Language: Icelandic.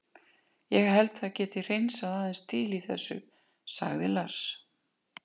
Ég held að það geti hreinsað aðeins til í þessu, sagði Lars.